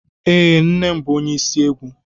Ee, nne m bụ ónyé isi egwu.